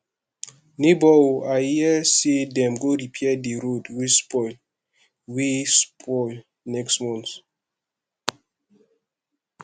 nebor o i hear sey dem go repair di road wey spoil road wey spoil next month